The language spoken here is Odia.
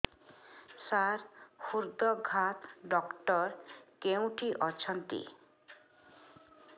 ସାର ହୃଦଘାତ ଡକ୍ଟର କେଉଁଠି ଅଛନ୍ତି